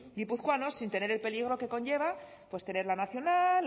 gipuzkoanos sin tener el peligro que conlleva tener la nacional